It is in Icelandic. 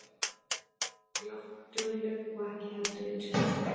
En hún er ekki eins járndugleg og ekki heldur eins heilsugóð.